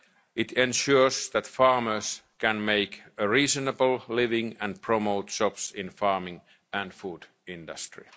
citizens. It ensures that farmers can make a reasonable living and it promotes jobs in the farming and food